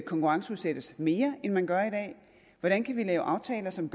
konkurrenceudsættes mere end man gør i dag hvordan kan vi lave aftaler som